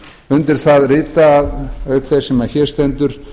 undir það rita auk þess sem hér stendur